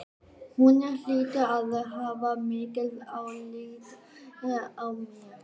Hún hlýtur að hafa mikið álit á mér.